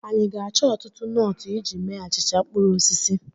Anyị ga-achọ ọtụtụ nọọtụ iji mee achịcha mkpụrụ osisi?